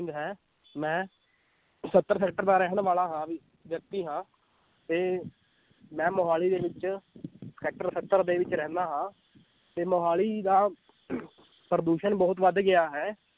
ਹੈ ਮੈਂ ਸੱਤਰ sector ਦਾ ਰਹਿਣ ਵਾਲਾ ਹਾਂ ਵਿ ਵਿੳਕਤੀ ਹਾਂ ਤੇ ਮੈਂ ਮੁਹਾਲੀ ਦੇ ਵਿੱਚ sector ਸੱਤਰ ਦੇ ਵਿੱਚ ਰਹਿੰਦਾ ਹਾਂ ਤੇ ਮੁਹਾਲੀ ਦਾ ਪ੍ਰਦੂਸ਼ਣ ਬਹੁਤ ਵੱਧ ਗਿਆ ਹੈ,